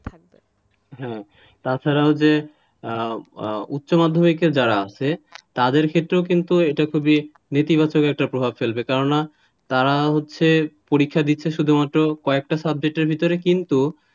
হ্যাঁ তাছাড়াও যে উচ্চ মাধ্যমিকে যারা আছে তাদের ক্ষেতেও কিন্তু এটা নীতিগত প্রভাব ফেলবে কেন না তাঁরা হচ্ছে পরীক্ষা দিচ্ছে শুধুমাত্র কয়েকটা subject র ভিতরে কিন্তু,